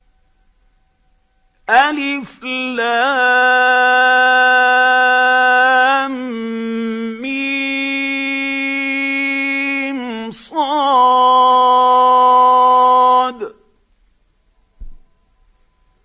المص